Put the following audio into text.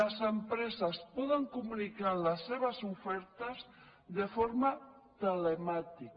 les em·preses poden comunicar la seves ofertes de forma te·lemàtica